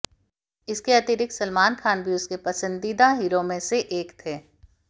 इसके अतिरिक्त सलमान खान भी उसके पसंदीदा हीरो में से एक थे